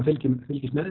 fylgist með